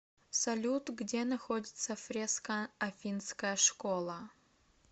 салют где находится фреска афинская школа